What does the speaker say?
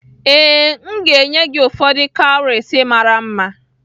Ee, m ga-enye gị ụfọdụ cowries mara mma